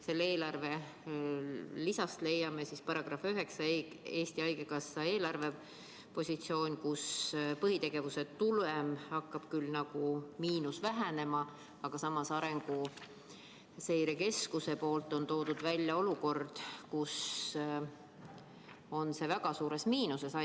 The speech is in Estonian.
Selle eelarve lisast leiame § 9 "Eesti Haigekassa eelarvepositsioon", kus põhitegevuse tulemi miinus hakkab küll nagu vähenema, aga samas on Arenguseire Keskus toonud välja, et haigekassa on väga suures miinuses.